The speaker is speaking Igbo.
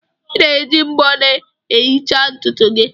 Ị na-eji mbo na-ehicha ntutu gị